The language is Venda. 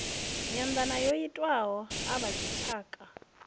nyanḓano yo itiwaho a vhadzitshaka